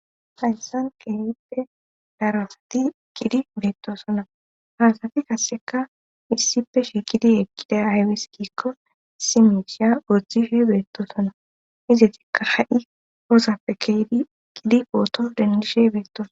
hayssan qeehippe darasati kidi beettosona haasati kasseka issife shikidi ekkida aywis giikko simishiya ooththifhe beettosona izatikka ha7i osappe keedi gidi qooton dendishe beettosa